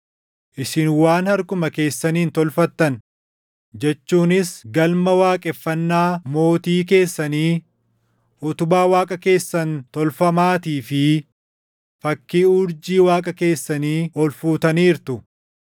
Isin waan harkuma keessaniin tolfattan jechuunis galma waaqeffannaa mootii keessanii, utubaa waaqa keessan tolfamaatii fi fakkii urjii waaqa keessanii ol fuutaniirtu.